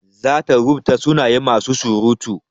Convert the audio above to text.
Zata rubuta sunayen masu surutu.